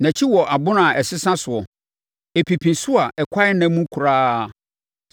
Nʼakyi wɔ abona a ɛsesa soɔ, ɛpipi so a ɛkwan nna mu koraa;